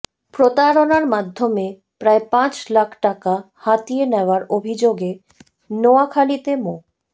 প্রতারণার মাধ্যমে প্রায় পাঁচ লাখ টাকা হাতিয়ে নেওয়ার অভিযোগে নোয়াখালীতে মো